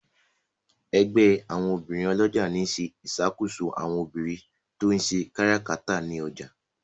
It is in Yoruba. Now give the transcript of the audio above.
ègbé àwọn obìrin olójà ní ṣe ìṣàkóso àwọn obìrin to ń ṣe káràkátà ní ọjà.